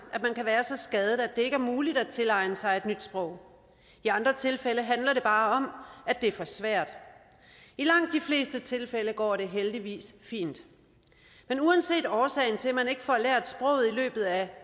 at så skadet at det ikke er muligt at tilegne sig et nyt sprog i andre tilfælde handler det bare om at det er for svært i langt de fleste tilfælde går det heldigvis fint men uanset årsagen til at man ikke får lært sproget i løbet af